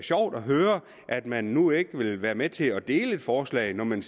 sjovt at høre at man nu ikke vil være med til at dele et forslag når man